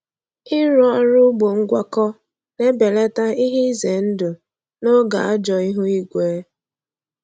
Ịrụ ọrụ ugbo ngwakọ na-ebelata ihe ize ndụ n’oge ajọ ihu igwe.